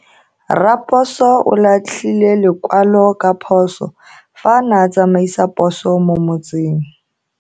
Raposo o latlhie lekwalo ka phoso fa a ne a tsamaisa poso mo motseng.